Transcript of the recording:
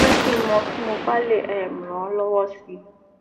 jẹ kí n mọ tí mo bá lè um ràn ọ lọwọ si